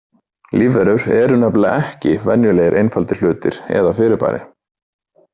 Lífverur eru nefnilega ekki venjulegir einfaldir hlutir eða fyrirbæri.